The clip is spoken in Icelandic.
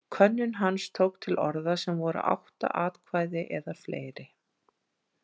Könnun hans tók til orða sem voru átta atkvæði eða fleiri.